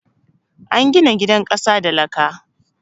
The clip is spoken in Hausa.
An gina gidan ƙasa da laka